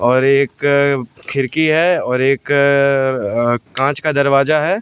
और एक खिड़की है और एक अ कांच का दरवाजा है।